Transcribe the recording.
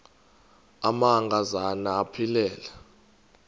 amanka zana aphilele